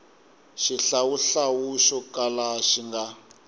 xihlawuhlawu xo kala xi nga